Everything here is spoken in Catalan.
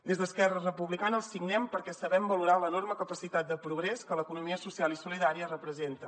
des d’esquerra republicana el signem perquè sabem valorar l’enorme capacitat de progrés que l’economia social i solidària representa